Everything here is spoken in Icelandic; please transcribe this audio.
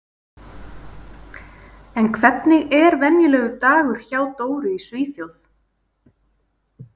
En hvernig er venjulegur dagur hjá Dóru í Svíþjóð?